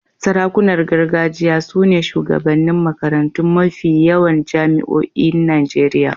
Sarakunan gargajiya su ne shugabannin makarantun mafi yawan jami'oin Najeriya.